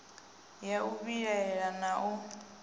ya u vhilaela na u